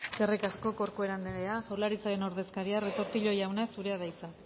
eskerrik asko corcuera anderea jaurlaritzaren ordezkaria retortillo jauna zurea da hitza